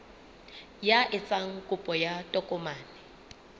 ya etsang kopo ya tokomane